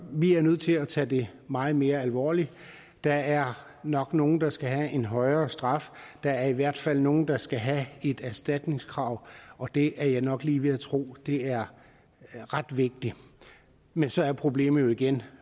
vi er nødt til at tage det meget mere alvorligt der er nok nogle der skal have en højere straf der er i hvert fald nogle der skal have et erstatningskrav og det er jeg nok lige ved at tro er ret vigtigt men så er problemet igen